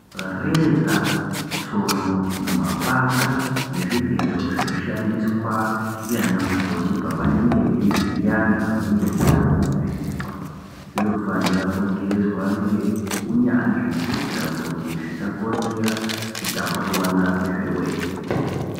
Reza, tsono, mapanga nezvigero zvinoshandiswa ndianamukoti pavanenge veivhiya antu anenge eida kuvhenekwa zvinofanira kugezwa ngeunyanzvi kuitira kuti zvisakonzera kutapurirana kwezvirwere.